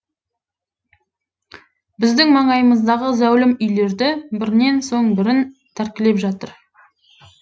біздің маңайымыздағы зәулім үйлерді бірінен соң бірін тәркілеп жатыр